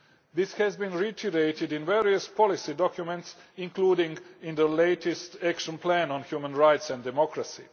This has been reiterated in various policy documents, including the latest Action Plan on Human Rights and Democracy.